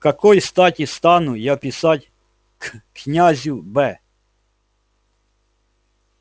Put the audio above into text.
к какой стати стану я писать к князю б